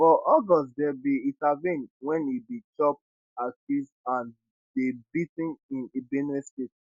for august dem bin intervene wen e bin chop accuse and dey bea ten in benue state